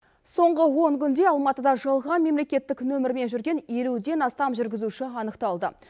соңғы он күнде алматыда жалған мемлекеттік нөмірмен жүрген елуден астам жүргізуші анықталды